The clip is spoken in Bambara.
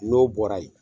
N'o bɔra yen